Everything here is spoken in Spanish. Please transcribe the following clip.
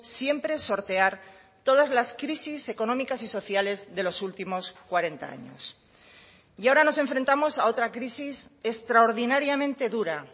siempre sortear todas las crisis económicas y sociales de los últimos cuarenta años y ahora nos enfrentamos a otra crisis extraordinariamente dura